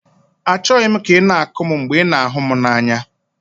Achọghị m ka ị na-akụ m mgbe ị na-ahụ m n'anya.